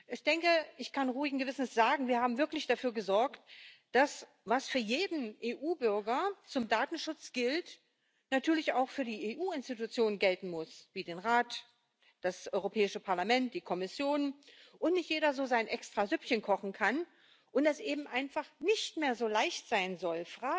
Ich kann ruhigen Gewissens sagen Wir haben wirklich dafür gesorgt, dass das, was für jeden EU Bürger zum Datenschutz gilt, natürlich auch für die EU Institutionen gelten muss wie den Rat, das Europäische Parlament, die Kommission und nicht jeder so sein Extrasüppchen kochen kann und es eben einfach nicht mehr so leicht sein soll,